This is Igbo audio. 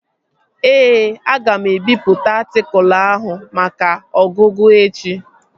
Ee, aga m ebipụta atịkụlu ahụ maka ọgụgụ echi